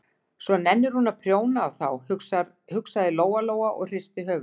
Svo nennir hún að prjóna á þá, hugsaði Lóa-Lóa og hristi höfuðið.